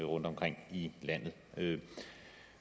rundtomkring i landet